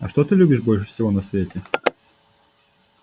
а что ты любишь больше всего на свете